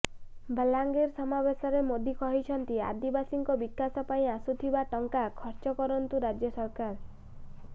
ବଲାଙ୍ଗିର ସମାବେଶରେ ମୋଦି କହିଛନ୍ତି ଆଦିବାସୀଙ୍କ ବିକାଶ ପାଇଁ ଆସୁଥିବା ଟଙ୍କା ଖର୍ଚ୍ଚ କରନ୍ତୁ ରାଜ୍ୟ ସରକାର